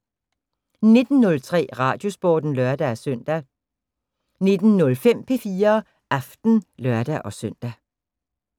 19:03: Radiosporten (lør-søn) 19:05: P4 Aften (lør-søn)